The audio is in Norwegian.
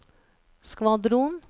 skvadron